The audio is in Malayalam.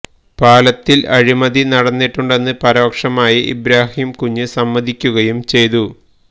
പാലത്തില് അഴിമതി നടന്നിട്ടുണ്ടെന്ന് പരോക്ഷമായി ഇബ്രാഹിം കുഞ്ഞ് സമ്മതിക്കുകയും ചെയ്തു